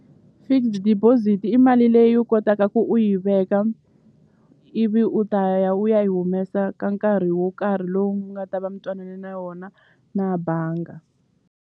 Fixed deposit i mali leyi u kotaka ku u yi veka ivi u ta ya u ya yi humesa ka nkarhi wo karhi lowu nga ta va mi twanane na wona na banga.